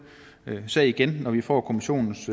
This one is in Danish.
sag igen når vi får kommissionens